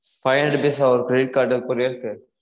five hundred rupees ah ஒரு credit card courier க்கு?